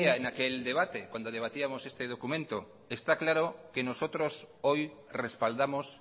mesedez decía en aquel debate cuando debatíamos este documento está claro que nosotros hoy respaldamos